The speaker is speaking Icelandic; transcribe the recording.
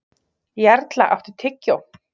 Jarla, áttu tyggjó?